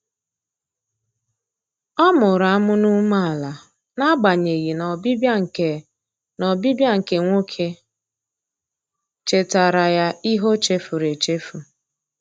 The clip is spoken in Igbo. Ọ mụrụ amụ n'umeala na agbanyeghị na ọbịbịa nke na ọbịbịa nke nwoke chetara ya ihe ochefuru echefu.